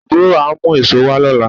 Àbúrò á mú èso wá lọ́la